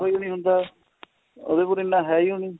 ਉਈ ਨੀਂ ਹੁੰਦਾ ਉਹਦੇ ਕੋਲ ਇੰਨਾ ਹੈ ਈ ਓ ਨੀਂ